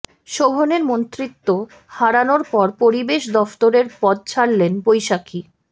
শোভনের মন্ত্রিত্ব হারানোর পর পরিবেশ দফতরের পদ ছাড়লেন বৈশাখি